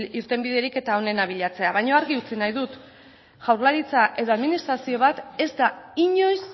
irtenbiderik eta onena bilatzea baina argi utzi nahi dut jaurlaritza edo administrazio bat ez da inoiz